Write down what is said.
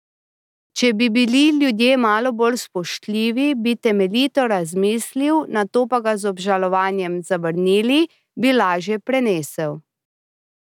Če bi bili ljudje malo bolj spoštljivi, če bi temeljito razmislili, nato pa ga z obžalovanjem zavrnili, bi lažje prenesel.